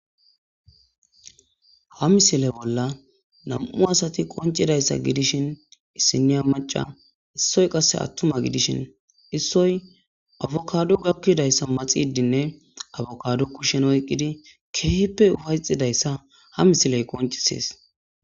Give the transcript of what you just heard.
Ha misile bolla nam'u asati qoncidayssa gidishin issiniya maca issoy qasse attuma gidishin issoy abokaado gakkidayssa maxidinne abokaado kushen oyqqidi keehippe ufayxidayssa ha misiley qoncisees.